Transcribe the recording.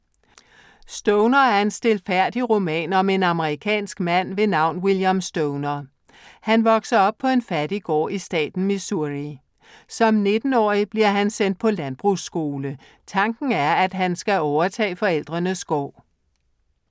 Stoner er en stilfærdig roman om en amerikansk mand ved navn William Stoner. Han vokser op på en fattig gård i staten Missouri. Som 19-årig bliver han sendt på landbrugsskole. Tanken er, at han skal overtage forældrenes gård.